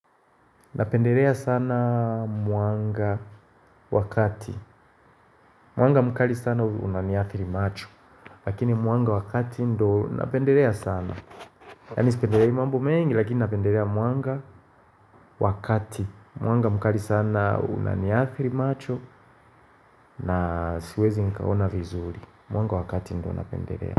Napendelea sana mwanga wakati Mwanga mkali sana unaniathiri macho Lakini mwanga wakati ndo napendelea sana Yani sipendelei imambo mengi lakini napendelea mwanga wakati Mwanga mkali sana unaniathiri macho na siwezi nikaona vizuri Mwanga wakati ndo napendelea.